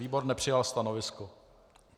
Výbor nepřijal stanovisko.